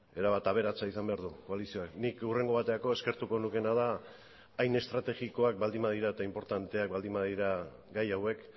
erabat aberatsa izan behar du koalizioak nik hurrengo baterako eskertuko nukeena da hain estrategikoak baldin badira eta inportanteak baldin badira gai hauek